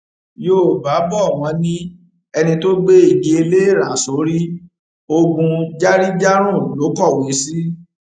yọọba bò wọn ní ẹni tó gbé igi ẹlẹẹra sórí ogún járíjárùn ló kọwé sí